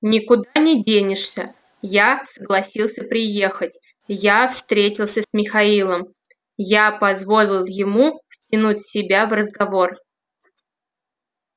никуда не денешься я согласился приехать я встретился с михаилом я позволил ему втянуть себя в разговор